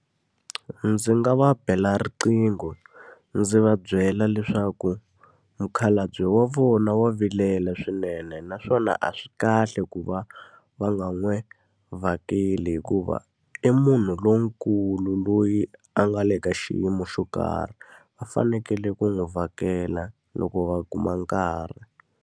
Ndzi nga va bela riqingho, ndzi va byela leswaku mukhalabye wa vona wa vilela swinene naswona a swi kahle ku va va nga n'wi vhakeli. Hikuva i munhu lonkulu loyi a nga le ka xiyimo xo karhi, va fanekele ku n'wi vhakela loko va kuma nkarhi.